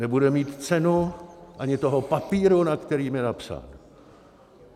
Nebude mít cenu ani toho papíru, na kterém je napsán.